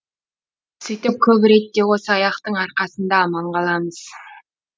сөйтіп көп ретте осы аяқтың арқасында аман қаламыз